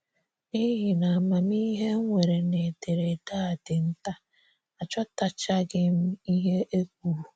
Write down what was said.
N’ihi na amamihe m nwere n'ederede a dị nta, aghọtachaghị m ihe e kwuru.